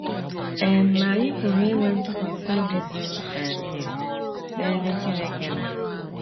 um Ma anyị pụrụ inwe ntụkwasị obi zuru um ezu n’ebe Chineke nọ.